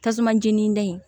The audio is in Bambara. Tasuma jeni de